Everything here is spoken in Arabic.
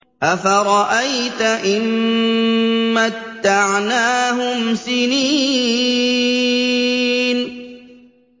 أَفَرَأَيْتَ إِن مَّتَّعْنَاهُمْ سِنِينَ